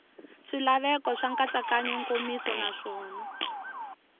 swilaveko swa nkatsakanyo nkomiso naswona